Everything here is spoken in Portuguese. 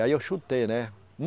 Aí eu chutei, né?